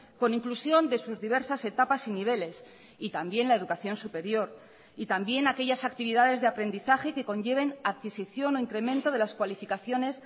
con inclusión de sus diversas etapas y niveles y también la educación superior y también aquellas actividades de aprendizaje que conlleven a adquisición o incremento de las cualificaciones